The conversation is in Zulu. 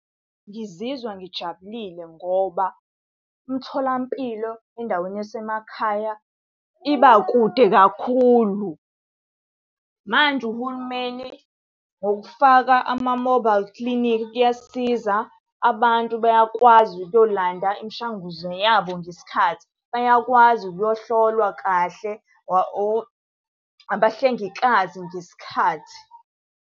Ngizizwa ngijabulile ngoba, imtholampilo endaweni yasemakhaya iba kude kakhulu. Manje uhulumeni ngokufaka ama-mobile clinic, kuyasisiza abantu bayakwazi ukuyolanda imishanguzo yabo ngesikhathi. Bayakwazi ukuyohlolwa kahle abahlengikazi ngesikhathi.